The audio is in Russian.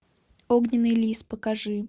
огненный лис покажи